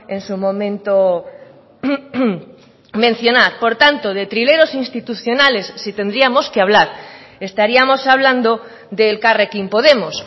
en su momento mencionar por tanto de trileros institucionales si tendríamos que hablar estaríamos hablando de elkarrekin podemos